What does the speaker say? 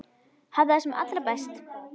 Hafðu það sem allra best.